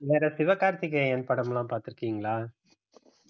வேற சிவகார்த்திகேயன் படம் எல்லாம் பாத்து இருக்கீங்களா